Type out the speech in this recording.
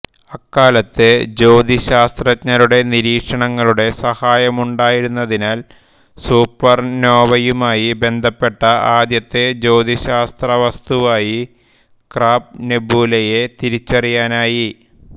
അക്കാലത്തെ ജ്യോതിശാസ്ത്രജ്ഞരുടെ നിരീക്ഷണങ്ങളുടെ സഹായമുണ്ടായിരുന്നതിനാൽ സൂപ്പർനോവയുമായി ബന്ധപ്പെട്ട ആദ്യത്തെ ജ്യോതിശാസ്ത്രവസ്തുവായി ക്രാബ് നെബുലയെ തിരിച്ചറിയാനായി